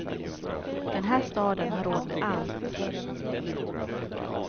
Den här staden har råd med allt.